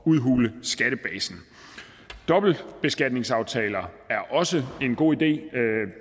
udhule skattebasen dobbeltbeskatningsaftaler er også en god idé